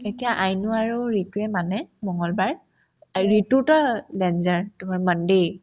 এতিয়া আইনো আৰু ৰিতুয়ে মানে মংগলবাৰ এই ৰিতুতা danger তোমাৰ monday